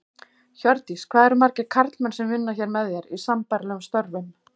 Hjördís: Hvað eru margir karlmenn sem vinna hér með þér, í sambærilegum störfum?